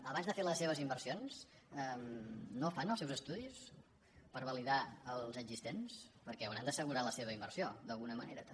abans de fer les seves inversions no fan els seus estudis per validar els existents perquè deuen haver d’assegurar la seva inversió d’alguna manera també